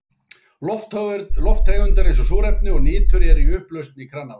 Lofttegundir eins og súrefni og nitur eru í upplausn í kranavatni.